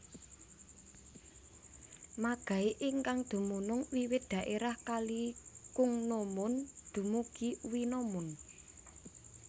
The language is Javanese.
Magai ingkang dumunung wiwit daerah kali Kungnomun dumugi Owinomun